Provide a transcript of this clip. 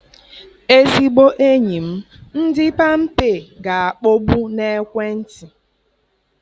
Ezigbo enyi m, ndị Pampé ga-akpọgbu na ekwentị.